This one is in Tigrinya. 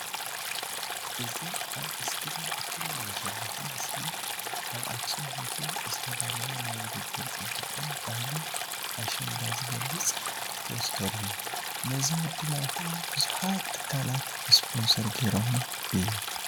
እዚ ኣብ እስክሪን እትሪእዎ ዘለኩም ምስሊ ኣብ ኣክሱም ሆቴል ዝተዳለወ ናይ ዉድድር ፅባቀን ባህል ኣሸንዳ ዝገልፅ ፖስተር እዩ ።ነዚ ምድላው ከዓ ብዙሓት ትካላት ስፖንሰር ጌሮሞ እዮም።